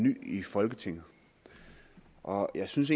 ny i folketinget og jeg synes